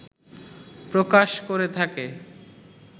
প্রকাশ করে থাকে